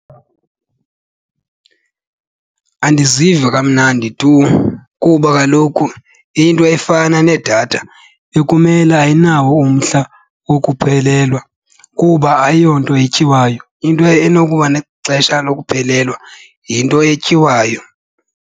Andiziva kamnandi tu kuba kaloku into efana nedatha bekumele ayinawo umhla wokuphelelwa kuba ayiyonto etyiwayo. Into enokuba nexesha lokuphelelwa yinto etyiwayo.